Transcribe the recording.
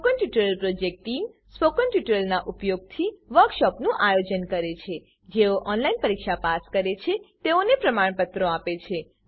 spoken tutorial project team spoken ટ્યુટોરીયલોનાં ઉપયોગથી વર્કશોપોનું આયોજન કરે છે જેઓ ઓનલાઈન પરીક્ષા પાસ કરે છે તેઓને પ્રમાણપત્રો આપે છે